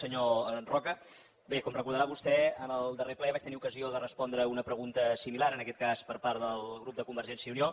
senyor roca bé com deu recordar vostè en el darrer ple vaig tenir ocasió de respondre a una pregunta similar en aquest cas per part del grup de convergència i unió